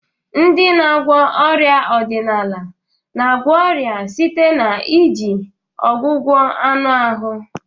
Ndị na-agwọ ọrịa ọdịnala na-agwọ ọrịa site na iji ọgwụgwọ anụ ahụ.